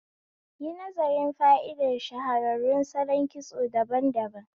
Yi nazarin fa'idar shahararrun salon kitso daban daban